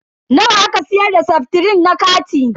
Nawa aka siyar da seftrin na kati?